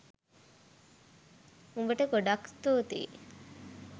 උඹට ගොඩාක් ස්තූතියි